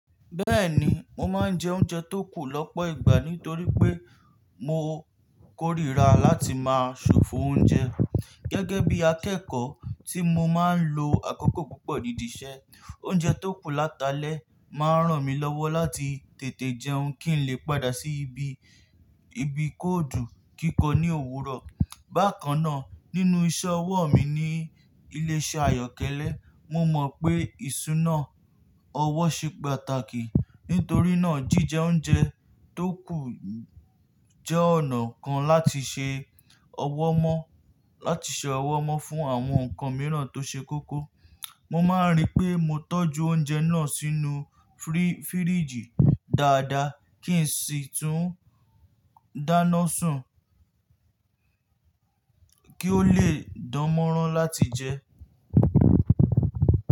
Bẹ́ẹ̀ni, mo máa ń jẹ oúnjẹ tó kù lọ́pọ̀ ìgbà nítorí pé mo kórìíra láti máa ṣòfò oúnjẹ. Gẹ́gẹ́ bí akẹ́kọ̀ọ́ tí mo máa ń lo àkókò púpọ̀ ní dí ìṣẹ́, oúnjẹ tó kù láti alẹ́ máa ń ràn mí lọ́wọ́ láti tètè jẹun kí n lè padà sí ibi, ibi kóòdù kíkọ ní òwúrọ̀. Bákan náà, nínú iṣẹ́ ọwọ́ mi ní ilé-iṣẹ́ àyọ́kẹ́lẹ́, mo mọ̀ pé ìṣúná ọwọ́ ṣe pàtàkì. Nítorí náà, jíjẹ oúnjẹ tó kù jẹ́ ọ̀nà kan láti ṣe ọwọ́ mọ́, láti ṣe ọwọ́ mọ́ fún àwọn nǹkan mìíràn tó ṣe kókó. Mo máa ń ríi pé mo tọ́jú oúnjẹ náà sínú fíríìjì dáadáa kí n sì tún dáná sun kí ó lè dánmọ́rán láti jẹ.